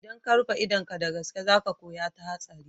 Idan ka rufe idon ka ga gaske za ka koya ta hatsari.